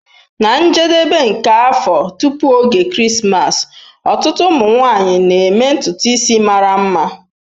Na njedebe nke afọ, tupu oge Krismas, ọtụtụ ụmụ nwanyị na-eme ntutu isi mara mma.